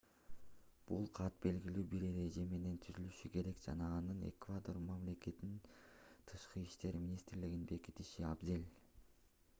бул кат белгилүү бир эреже менен түзүлүшү керек жана аны эквадор мамлекетинин тышкы иштер министрлигинин бекитиши абзел